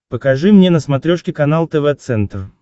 покажи мне на смотрешке канал тв центр